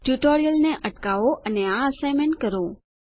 ટ્યુટોરીયલને અટકાવો અને આ એસાઇનમેંટ કરો